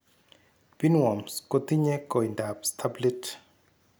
Pinworms kotinye koindab staplit